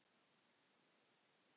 Hann gerir ekkert.